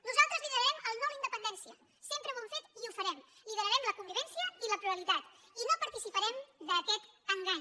nosaltres liderarem el no a la independència sempre ho hem fet i ho farem liderarem la convivència i la pluralitat i no participarem d’aquest engany